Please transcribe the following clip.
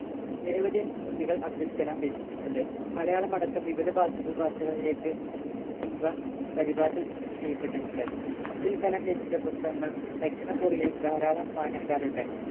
നിരവധി കൃതികൾ അബ്ദുൾകലാം രചിച്ചിട്ടുണ്ട് മലയാളം അടക്കം വിവിധ ഭാഷകൾ ഭാഷകളിലേക്ക് ഇവ പരിഭാഷ ചെ ചെയ്യപ്പെട്ടിട്ടുണ്ട് അബ്ദുൾകലാം രചിച്ച പുസ്തകങ്ങൾ ദക്ഷിണ കൊറിയയിൽ ധാരാളം വായനക്കാരുണ്ട്